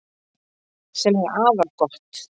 Sem er afar gott